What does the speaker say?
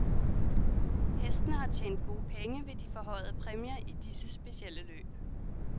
Hestene har tjent gode penge ved de forhøjede præmier i disse specielle løb.